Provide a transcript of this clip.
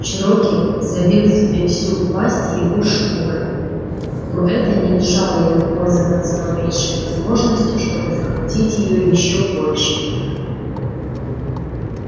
чероки забил себе всю пасть его шкурой но это не мешало ему пользоваться малейшей возможностью чтобы захватить её ещё больше